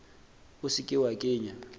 o se ke wa kenya